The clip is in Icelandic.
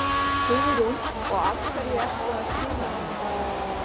Hugrún: Og af hverju ertu að skila henni?